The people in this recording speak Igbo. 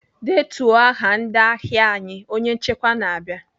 "Detuo aha ndị ahịa anyị!" Onye nchịkwa na-aba.